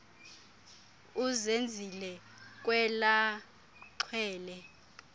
uzenzile kwela xhwele